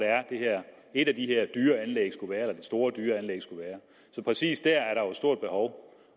et af de her store dyre anlæg skulle være så præcis dér er der jo et stort behov